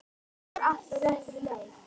Þetta er allt á réttri leið.